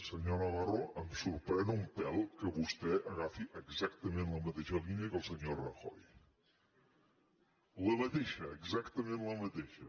senyor navarro em sorprèn un pèl que vostè agafi exactament la mateixa línia que el senyor rajoy la mateixa exactament la mateixa